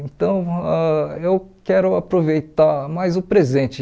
Então, ãh eu quero aproveitar mais o presente.